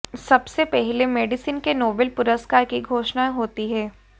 सबसे पहले मेडिसिन के नोबेल पुरस्कार की घोषणा हाेती है